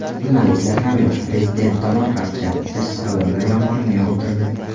Jurnalistlar ham yosh prezident tomon qaqshatqich savollar yomg‘irini yog‘dirdi.